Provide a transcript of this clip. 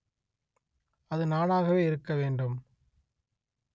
அது நானாகவே இருக்க வேண்டும்